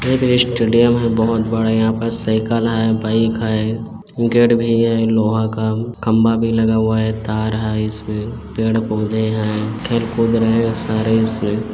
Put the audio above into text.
एक स्टेडियम है बहुत बड़ा यहाँ पस साइकिल है बाइक है गेट भी है लोहा का खम्भा भी लगा हुआ है तार है इसमे पेड़ पोधे है खेल कूद रहे है सारे--